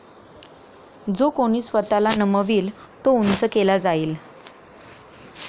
जो कोणी स्वतःला नमवील तो उंच केला जाईल